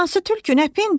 Hansı tülkü, nə pendir?